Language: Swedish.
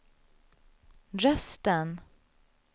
rösten